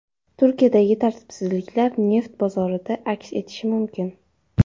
Turkiyadagi tartibsizliklar neft bozorlarida aks etishi mumkin.